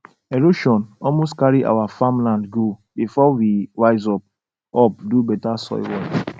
erosion almost carry our farmland go before we wise up up do better soil work